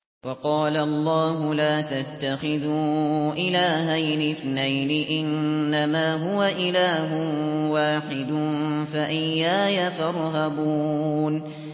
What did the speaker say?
۞ وَقَالَ اللَّهُ لَا تَتَّخِذُوا إِلَٰهَيْنِ اثْنَيْنِ ۖ إِنَّمَا هُوَ إِلَٰهٌ وَاحِدٌ ۖ فَإِيَّايَ فَارْهَبُونِ